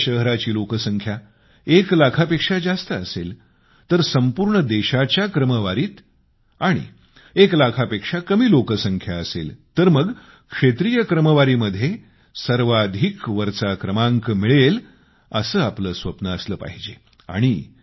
जर आपल्या शहराची लोकसंख्या एक लाखापेक्षा जास्त असेल तर संपूर्ण देशाच्या क्रमवारीत आणि एक लाखापेक्षा कमी लोकसंख्या असेल तर मग क्षे़त्रीय क्रमवारीमध्ये सर्वाधिक वरचा क्रमांक मिळवला पाहिजे असे आपले स्वप्न असले पाहिजे